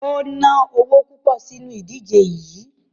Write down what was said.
O ná owo púpọ̀ sínu ìdíje yií.